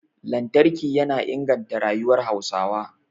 Lantarki yana inganta rayuwar Hausawa